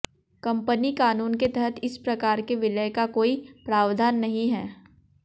company कानून के तहत इस प्रकार के विलय का कोई प्रावधान नहीं है